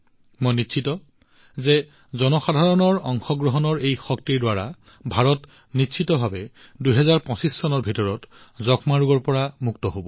মই নিশ্চিত যে জনসাধাৰণৰ অংশগ্ৰহণৰ এই শক্তিৰ দ্বাৰা ভাৰত নিশ্চিতভাৱে ২০২৫ চনৰ ভিতৰত যক্ষ্মা ৰোগৰ পৰা মুক্ত হব